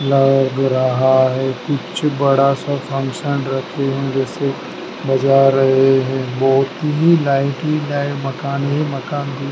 लग रहा है कि कुछ बड़ा सा फंक्शन रखे हैं जैसे बजा रहे हैं बहोत ही नाइनटीन नाइन मकान ए मकान बी --